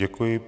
Děkuji.